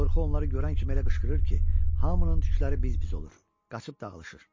Qorxu onları görən kimi elə qışqırır ki, hamının tükləri biz-biz olur, qaçıb dağılışır.